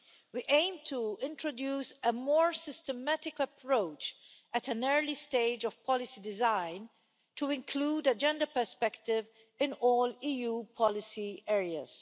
We aim to introduce a more systematic approach at an early stage of policy design to include a gender perspective in all EU policy areas.